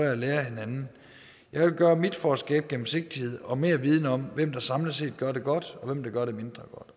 og lære af hinanden jeg vil gøre mit for at skabe gennemsigtighed og mere viden om hvem der samlet set gør det godt og hvem der gør det mindre